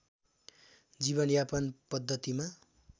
जीवनयापन पद्धतिमा